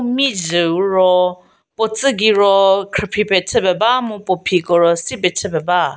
mhizhüu ro puo tsü gei ro khrüphi pie chü pie ba mu puo phiko ro si pie chü pie ba.